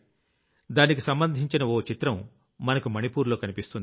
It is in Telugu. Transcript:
దానికి సంబంధించిన ఓ చిత్రం మనకు మణిపూర్ లో కనిపిస్తుంది